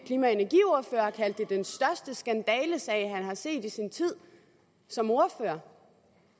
klima og energiordfører har kaldt det den største skandalesag han har set i sin tid som ordfører